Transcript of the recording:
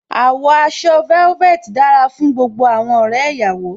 Àwọ̀ aṣọ velvet dára fún gbogbo àwọn ọ̀rẹ́ ìyàwó.